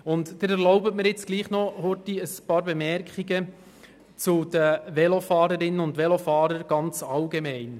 Nun habe ich noch einige Bemerkungen zu den Velofahrern und Velofahrerinnen ganz allgemein.